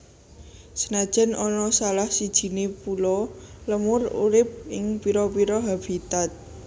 Senajan ana salah sijiné pulo lemur urip ing pira pira habitat